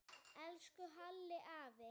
Elsku Halli afi.